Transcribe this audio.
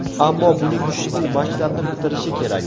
Ammo buning uchun u maktabni bitirishi kerak.